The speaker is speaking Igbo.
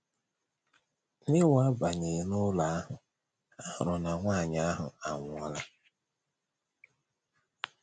N’ịwabanye n’ụlọ ahụ, ha hụrụ na nwanyị ahụ anwụọla.